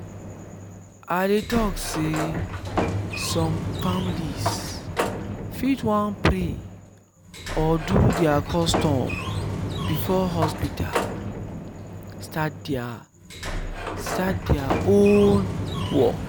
i dey talk sey some families fit wan pray or do their own custom before hospital start their start their own work